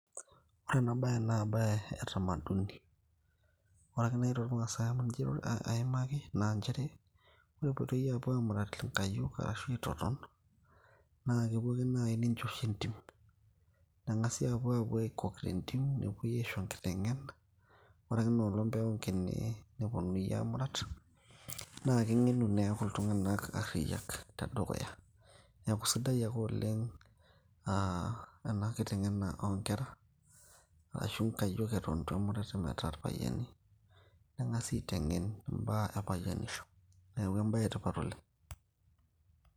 ore ena baye naa embaye e tamaduni ore ake naaji tormaasae amu ninche aimaki naa inchere ore epuoitoi aapuo aamurat inkayiok arashu aitoton naa kepuo ake naaji ninchosho entim, neng'asi aapuo aapuo aikok tentim nepuoi aisho enkiteng'ena ore ake enoolong peeng'ukini neponunui aamurat naa keng'enu neeku iltung'anak arriyiak tedukuya neeku sidai ake oleng naa aa ena kiteng'ena oonkera arashu inkayiok eton etu emurati metaa irpayiani neng'asi aiteng'en imbaa e payianisho neeku embaye etipat oleng .